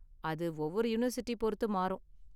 அது ஒவ்வொரு யூனிவர்சிட்டி பொருத்து மாறும்.